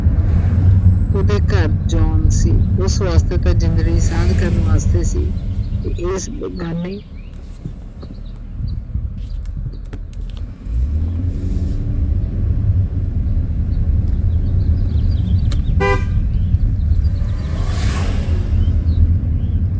ਉਹਦੇ ਘਰ John ਸੀ ਉਸ ਵਾਸਤੇ ਤਾਂ ਜਿੰਦਗੀ ਦੀ ਸਾਂਝ ਕਰਨ ਵਾਸਤੇ ਸੀ, ਏਸ ਅਹ ਬੇਗਾਨੀ